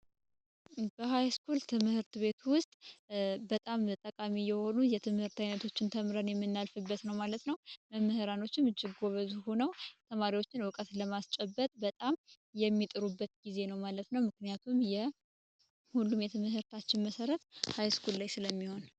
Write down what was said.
ሀይስኩል ትምህርት ቤት ውስጥ በጣም ጠቃሚ የሆኑ የትምህርት አይነቶችን ተምረን የሚናገረ መምህራኖችን ሆኖ ተማሪዎችን እውቀትን ለማስጨበጥ በጣም የሚጥሩበት ጊዜ ነው ማለት ነው ምክንያቱም የሁሉም የተመሰረታችን መሠረት ላይ ስለሚሆን